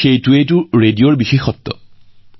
কিন্তু সেয়াই ৰেডিঅৰ সৌন্দৰ্য্য